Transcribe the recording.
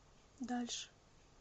дальше